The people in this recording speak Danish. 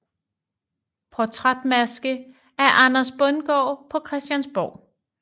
Portrætmaske af Anders Bundgaard på Christiansborg